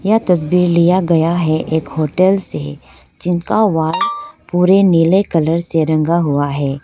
यह तस्वीर लिया गया है एक होटल से जिनका वॉल पुरे नीले कलर से रंगा हुआ है।